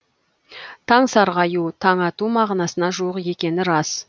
таң сарғаю таң ату мағынасына жуық екені рас